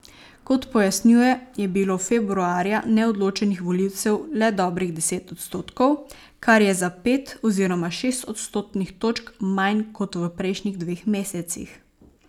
Kot pojasnjuje, je bilo februarja neodločenih volivcev le dobrih deset odstotkov, kar je za pet oziroma šest odstotnih točk manj kot v prejšnjih dveh mesecih.